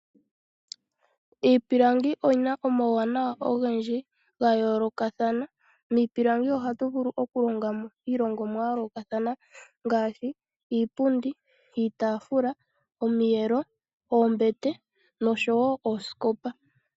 Iipilangi oyi na omawuwanawa ogendji ga yoolokathana. Miipilangi ohatu vulu okulonga mo iilongomwa ya yoolokathana ngaashi iipundi, iitaafula, omiyelo, oombete noshowo oosikopa.